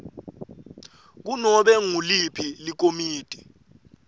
kunobe nguliphi likomiti